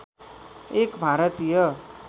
एक भारतीय